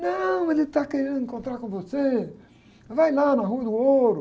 Não, mas ele está querendo encontrar com você, vai lá na Rua.